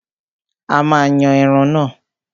A máa yan ẹran náà.